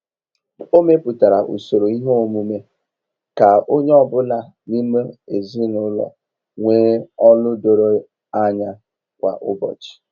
O mepụtara usoro ihe omume ka onye ọ bụla n'ime ezinụlọ nwee ọlụ doro anya kwa ụbọchị.